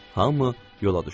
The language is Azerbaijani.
Hamı yola düşdü.